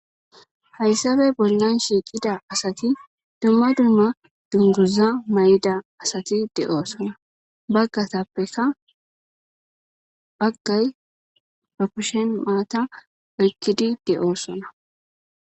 Hayssappe bollan shiqida asati dumma dumma dunguza mayo mayidi dizayissanne bagay ba kushshen maatta oyqidi de"ossona